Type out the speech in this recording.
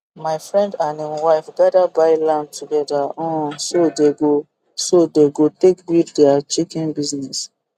my friend and im wife gada buy land together um so they go so they go take build dia chicken business